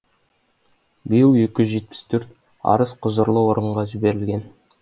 биыл екі жүз жетпіс төрт арыз құзырлы органға жіберілген